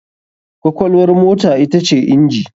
Kwakwalwar mota ita ce inji.